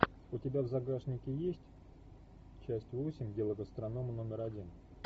у тебя в загашнике есть часть восемь дело гастронома номер один